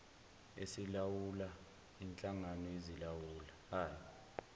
esilawula inhlangano ezilawulayo